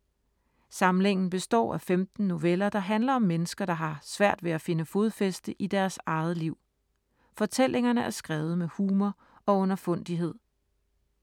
Samlingen består af 15 noveller, der handler om mennesker, der har svært ved at finde fodfæste i deres eget liv. Fortællingerne er skrevet med humor og underfundighed.